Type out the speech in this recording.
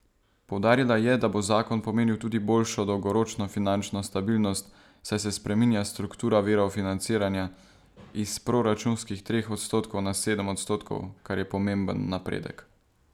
Poudarila je, da bo zakon pomenil tudi boljšo dolgoročno finančno stabilnost, saj se spreminja struktura virov financiranja, iz proračunskih treh odstotkov na sedem odstotkov, kar je pomemben napredek.